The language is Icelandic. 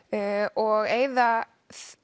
og eyða